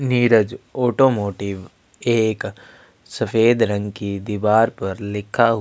Neeraj automotive एक सफ़ेद रंग की दीवार पर लिखा हु --